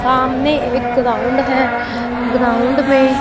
सामने एक ग्राउंड है ग्राउंड में--